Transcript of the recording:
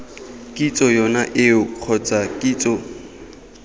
kitso yone eo kgotsa kitso